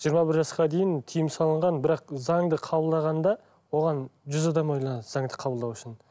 жиырма бір жасқа дейін тиым салынған бірақ заңды қабылдағанда оған жүз адам ойланады заңды қабылдау үшін